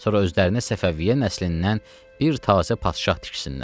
Sonra özlərinə Səfəviyyə nəslindən bir təzə padşah tiksinlər.